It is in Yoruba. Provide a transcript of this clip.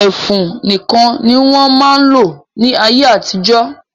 Ẹfun nìkan ni wọ́n máa ń lò ní ayé-àtijọ́.